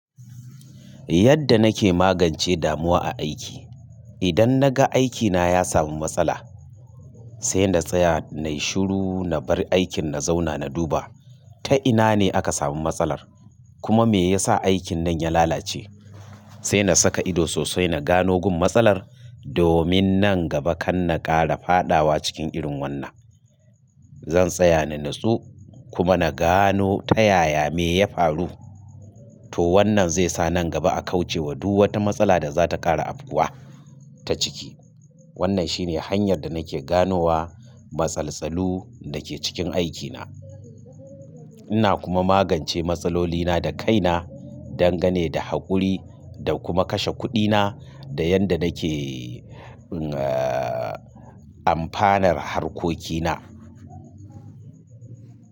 Yadda nake magance damuwa aiki. Idan naga aikina ya samu matsala, sai na tsaya, na yi shiru na bar aikin na zauna na duba. Ta ina ne aka samu matsalar, kuma me yasa aikin nan ya lalace. Sai na saka ido sosai na gano gun matsalar, domin nan gaba kan na ƙara faɗawa cikin irin wannan. Zan tsaya na nutsu kuma na gano ta yaya me ya faru. To wannan zai sa nan gaba a kauce wa duk wata matsala da za ta ƙara afkuwa ta ciki. Wannan shine hanyar da nake ganowa matsaltsalu da ke cikin aikina. Ina kuma magance matsalolina da kaina dangane da haƙuri da kuma kashe kuɗina da yadda nake, eh, amfanar harkokina.